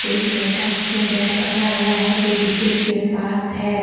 एक लड़का जिसने बैट पकड़ा हुआ हैं जो विकेट के पास है।